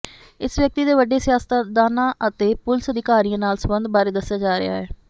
ਇਸ ਵਿਅਕਤੀ ਦੇ ਵੱਡੇ ਸਿਆਸਤਦਾਨਾਂ ਅਤੇ ਪੁਲਿਸ ਅਧਿਕਾਰੀਆਂ ਨਾਲ ਸਬੰਧਾਂ ਬਾਰੇ ਦੱਸਿਆ ਜਾ ਰਿਹਾ ਹੈ